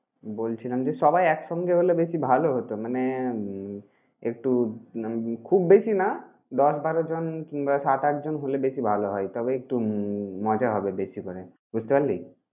বলছিলাম যে, সবাই একসঙ্গে হলে বেশি ভালো হতো। মানে উম একটু উম মানে খুব বেশি না দশ, বারো জন কিংবা সাত, আট জন হলে বেশি ভালো হয়। তবে একটু মজা হবে বেশি করে। বুঝতে পারলি?